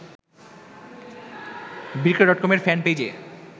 বিক্রয় ডটকমের ফ্যানপেইজে